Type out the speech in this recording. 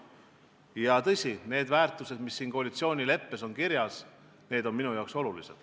Ja tõsi, need väärtused, mis koalitsioonileppes kirjas on, on minu jaoks olulised.